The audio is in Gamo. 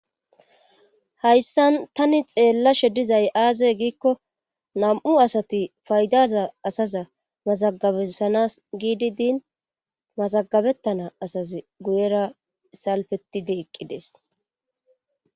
hayssan tani xeella she dizay aaze giikko nam7u asati faydaza asaza mazagabesanas giidi diin mazagabettana asazi guyera salfetide eqqidees